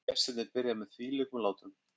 Gestirnir byrja með þvílíkum látum